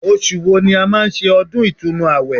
Osù wo ni a máa ń ṣe ọdún ìtúnu àwẹ̀